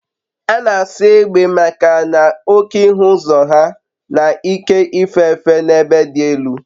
A na-asọ egbe maka na oke ịhụ ụzọ ha na ike ife efe n'ebe dị elu